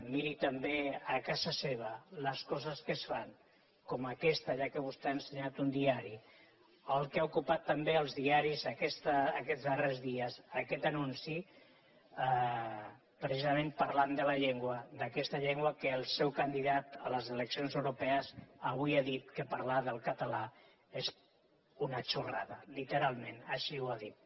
miri també a casa seva les coses que es fan com aquesta ja que vostè ha ensenyat un diari el que ha ocupat també els diaris aquests darrers dies aquest anunci precisament parlant de la llengua d’aquesta llengua que el seu candidat a les eleccions europees avui ha dit que parlar del català és una xorrada lite·ralment així ho ha dit